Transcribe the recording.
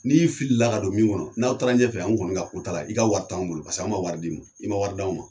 N'i fili la ka don min kɔnɔ n'aw taara ɲɛfɛ an kɔni ka ko t'a la, i ka wari t'anw bolo paseke an ma wari di ma, i ma wari d'anw ma.